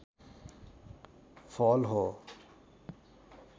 फल हो